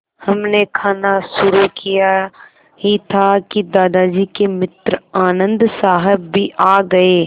हमने खाना शुरू किया ही था कि दादाजी के मित्र आनन्द साहब भी आ गए